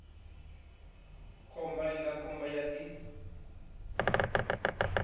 khomba iḽa khomba ya ḓi